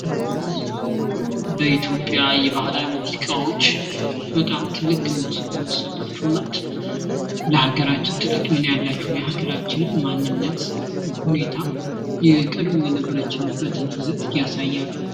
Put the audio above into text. በኢትዮጽያ የባህላዊ ሙዚቃዎች በጣም ትልቅ ግምት የሚሰጣቸውና ለሀገራችን ትልቅ ሚና ያላቸው የሀገራችንን ማንነት ሁኔታ የቀድሞ የነበረችበትን ይዘት ያሳያሉ።